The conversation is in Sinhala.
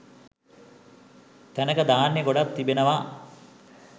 තැනක ධාන්‍ය ගොඩක් තිබෙනවා.